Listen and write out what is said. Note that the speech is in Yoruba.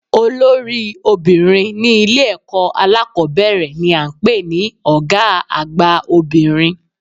Olórí obìnrin ní Ilé èkó alákòbéèrè ni à ń pè ní Ògá àgbà obìnrin